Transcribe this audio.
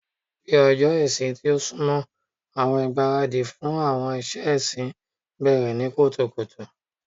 Bi ọjọ ìsinmi ti n sunmọ, awọn igbaradi fun awọn iṣẹ ẹsin bẹrẹ ni kutukutu